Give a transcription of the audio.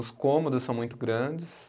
Os cômodos são muito grandes.